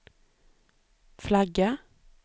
flagga